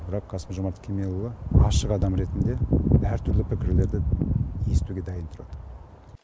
бірақ қасым жомарт кемелұлы ашық адам ретінде әртүрлі пікірлерді естуге дайын тұрады